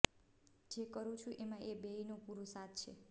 જે કરું છું એમાં એ બેયનો પૂરો સાથ છે